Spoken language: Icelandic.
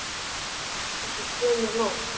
Og svo kemur nótt.